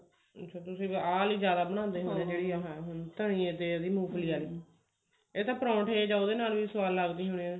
ਅੱਛਾ ਤੁਸੀਂ ਆਹ ਲਈ ਜਿਆਦਾ ਬਣਾ ਲੈਂਦੇ ਹੋ ਤੇ ਉਹਦੀ ਮੂੰਗਫਲੀ ਵਾਲੀ ਇਹ ਤਾਂ ਪਰੋਂਠੇ ਜਾਂ ਉਹਦੇ ਨਾਲ ਵੀ ਸਵਾਦ ਲੱਗਦੀ ਹੋਣੀ